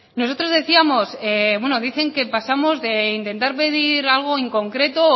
nosotros decíamos bueno dicen que pasamos de intentar pedir algo en concreto